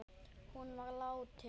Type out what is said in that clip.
Hún var látin.